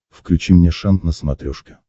включи мне шант на смотрешке